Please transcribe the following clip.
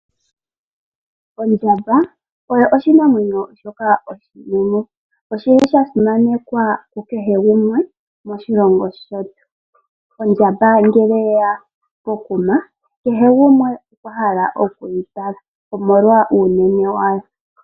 Ondjamba oyo oshinamwenyo shoka oshinene, oshili sha simanekwa ku kehe gumwe moshilongo shetu. Ondjamba ngele oyeya pokuma, kehe gumwe okwa hala okuyi tala, omolwa uunene wayo.